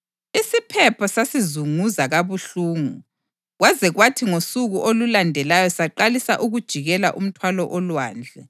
Isiphepho sasizunguza kabuhlungu kwaze kwathi ngosuku olulandelayo saqalisa ukujikela umthwalo olwandle.